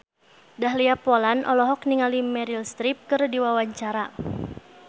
Dahlia Poland olohok ningali Meryl Streep keur diwawancara